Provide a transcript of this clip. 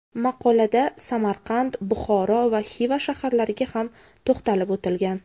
Maqolada Samarqand, Buxoro va Xiva shaharlariga ham to‘xtalib o‘tilgan.